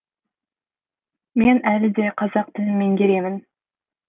мен әлі де қазақ тілін меңгеремін